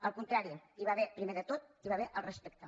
al contrari primer de tot hi va haver el respecte